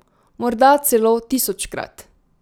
Morda celo tisočkrat.